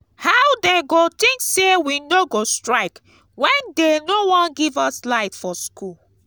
how dey go think say we no go strike when dey no wan give us light for school